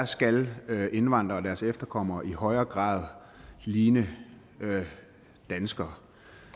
skal indvandrere og deres efterkommere i højere grad ligne danskere